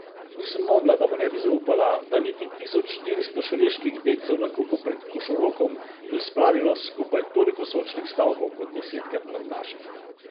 Nisem mogla, da mu ne bi zaupala, da niti tisoč štiristo šaleških dedcev na kupu pred Košorokom ni spravilo skupaj toliko sočnih stavkov kot desetkrat manj naših.